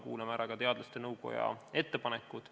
Kuulame ära ka teadusnõukoja ettepanekud.